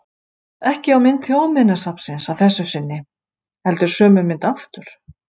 Ekki á mynd Þjóðminjasafnsins að þessu sinni, heldur sömu mynd aftur.